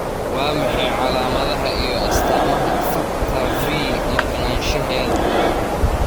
Waa maxay calaamadaha iyo astaamaha Factor V maqnashaahedha?